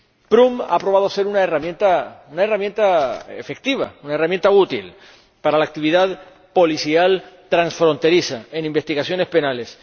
Prüm ha probado ser una herramienta efectiva, una herramienta útil para la actividad policial transfronteriza en investigaciones penales.